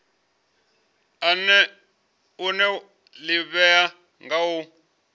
une wa ḓivhea nga u